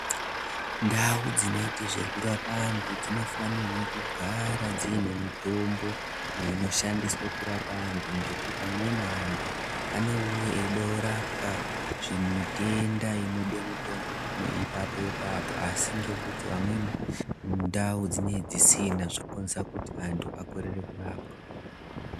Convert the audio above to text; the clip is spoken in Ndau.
Ndau dzinorape antu dzinofanira kugara dziine mitombo inoshandiswa kurape antu ngekuti amweni antu anouya echide kurapwa mitenda inoda kurapwa ipapo ipapo asi pamweni ndau dzinenge dzisina zvinokonzeresa kuti antu.